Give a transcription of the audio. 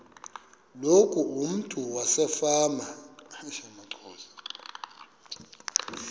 loku umntu wasefama